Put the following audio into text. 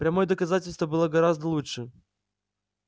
прямое доказательство было бы гораздо лучше